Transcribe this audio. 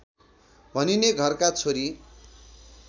भनिने घरका छोरी